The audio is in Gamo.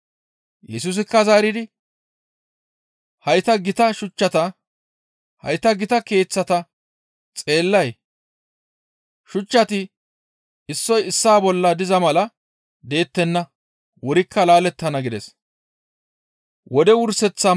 Yesusikka zaaridi, «Hayta gita keeththata xeellay? Shuchchati issoy issaa bolla diza mala deettenna; wurikka laalettana» gides.